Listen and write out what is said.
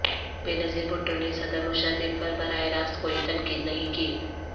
بے نظیر بھٹو نے صدر مشرف پر براہ راست کوئی تنقید نہیں کی